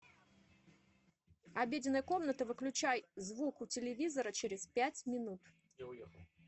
обеденная комната выключай звук у телевизора через пять минут